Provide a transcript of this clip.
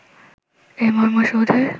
এই মর্মর সৌধের